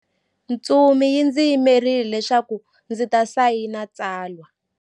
Ntsumi yi ndzi yimerile leswaku ndzi ta sayina tsalwa.